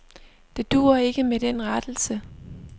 Det duer ikke med den rettelse.